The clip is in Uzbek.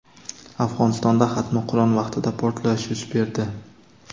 Afg‘onistonda xatmi Qur’on vaqtida portlash yuz berdi.